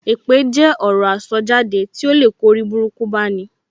Èpè jẹ́ ọ̀rọ̀ tí aṣọ jáde to lè kó oriburuku bá ní.